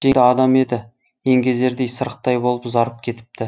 жеңді адам еді еңгезердей сырықтай болып ұзарып кетіпті